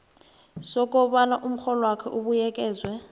sokobana umrholwakho ubuyekezwe